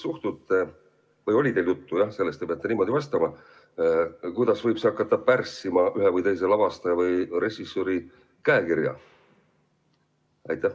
Kas teil oli juttu sellest, kuidas võib see hakata pärssima ühe või teise lavastaja või režissööri käekirja?